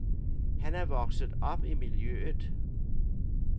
Han er vokset op i miljøet.